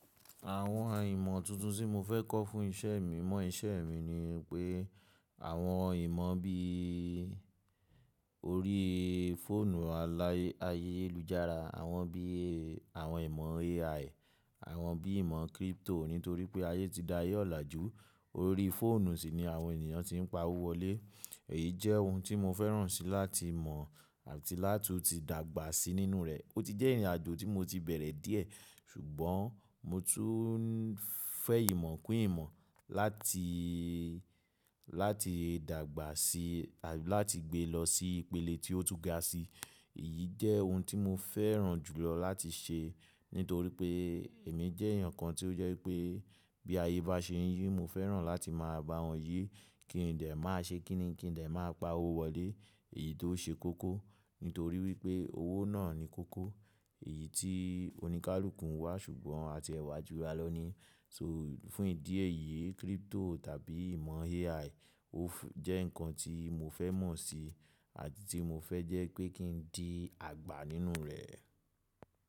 Àwọn ìmọ̀ tuntun tí mo fẹ́ kọ́ fún iṣẹ́ mi mọ́ iṣẹ́ mi ni pé àwọn ìmọ̀ bí i orí fóònù aláyé ayélujára, àwọn bí i àwọn ìmọ̀ AI, àwọn bí i ìmọ̀ crypto nítorí pé ayé ti di aye ọ̀làjú. Orí fóònù sì ni àwọn ènìyàn tí ń pa owó wọlé. Èyí jẹ́ ohun tí mo fẹ́ràn síi láti mọ̀ àti látu ti dàgbà síi nínú rẹ̀. Ó ti jẹ́ ìrìnàjò tí mo ti bẹ̀rẹ̀ díẹ̀, ṣùgbọ́n mo tún ń fẹ́ ìmọ̀ kún ìmọ̀ láti, láti dàgbà síi àti láti gbé lọ sí ìpele tí ó tún ga sí. Èyí jẹ́ ohun tí mo fẹ́ràn jùlọ láti ṣe nítorí pé èmi jẹ́ èèyàn kan tí ó jẹ́ pé bí ayé bá ṣe ń yí, mo fẹ́ràn láti máa bá wọn yí. Kí n de máa ṣe kí ni, kí n de máa pa owó wọlé èyí tó ṣe kókó. Nítorí wípé owó náà ni kókó, èyí tí oníkálukú ń wá ṣùgbọ́n àti ee wa ju ra lo ní. So fún ìdí èyí crypto tàbí ìmọ̀ AI ó jẹ́ nǹkan tí mo fẹ́ mọ̀ síi àti tí mo fẹ́ jẹ́ pé kí n di àgbà nínú rẹ̀.